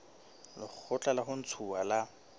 lekgotla la ho ntshuwa ha